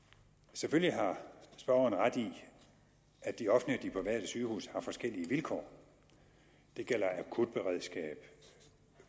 selvfølgelig har spørgeren ret i at de offentlige og de private sygehuse har forskellige vilkår det gælder akutberedskab